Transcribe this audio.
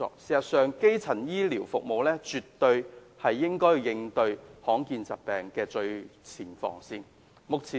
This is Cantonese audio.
事實上，基層醫療服務絕對是應對罕見疾病的最前防線。